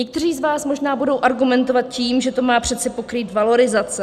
Někteří z vás možná budou argumentovat tím, že to má přece pokrýt valorizace.